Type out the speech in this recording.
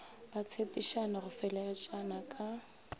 ba tshepišana go fegeletšana ka